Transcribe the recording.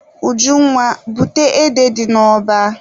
Ujunwa, bute ede dị n'ọba!